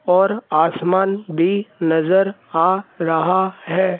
और आसमान भी नजर आ रहा है।